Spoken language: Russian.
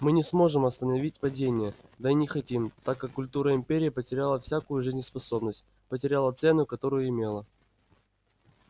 мы не сможем остановить падение да и не хотим так как культура империи потеряла всякую жизнеспособность потеряла цену которую имела